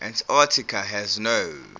antarctica has no